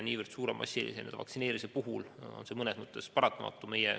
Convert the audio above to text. Niivõrd suure, massilise vaktsineerimise puhul on see mõnes mõttes paratamatu.